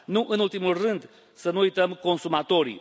Nu în ultimul rând, să nu uităm consumatorii.